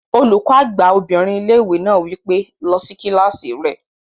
Olùkọ́ àgbà obìnrin ilé-ìwé náà wí pé, "lọ sí kílásì rẹ!"